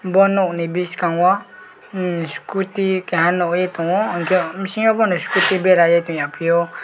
bo nog ni biskango scooty keha nogoi tongo hingke bisingo boni scooty berai oe tongya piyo.